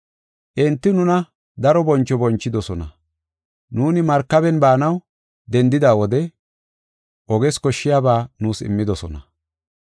Enti nuna daro boncho bonchidosona; nuuni markaben baanaw dendida wode oges koshshiyaba nuus immidosona.